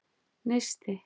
Neisti